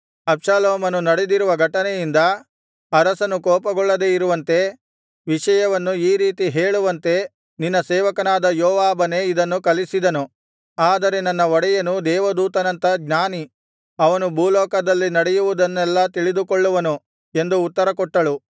ಅಬ್ಷಾಲೋಮನು ನಡೆದಿರುವ ಘಟನೆಯಿಂದ ಅರಸನು ಕೋಪಗೊಳ್ಳದೆ ಇರುವಂತೆ ವಿಷಯವನ್ನು ಈ ರೀತಿ ಹೇಳುವಂತೆ ನಿನ್ನ ಸೇವಕನಾದ ಯೋವಾಬನೇ ಇದನ್ನು ಕಲಿಸಿದನು ಆದರೆ ನನ್ನ ಒಡೆಯನು ದೇವದೂತನಂಥ ಜ್ಞಾನಿ ಅವನು ಭೂಲೋಕದಲ್ಲಿ ನಡೆಯುವುದನ್ನೆಲ್ಲಾ ತಿಳಿದುಕೊಳ್ಳುವನು ಎಂದು ಉತ್ತರಕೊಟ್ಟಳು